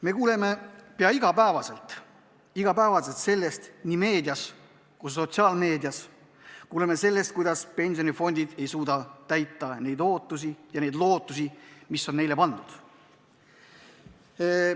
Me kuuleme pea iga päev nii tavalises meedias kui sotsiaalmeedias, et pensionifondid ei suuda täita neid ootusi ja lootusi, mis on neile pandud.